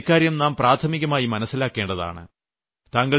അതുകൊണ്ട് ഇക്കാര്യം നാം പ്രാഥമികമായി മനസ്സിലാക്കേണ്ടതാണ്